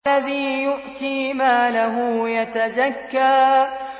الَّذِي يُؤْتِي مَالَهُ يَتَزَكَّىٰ